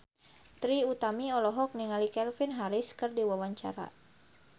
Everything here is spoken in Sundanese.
Trie Utami olohok ningali Calvin Harris keur diwawancara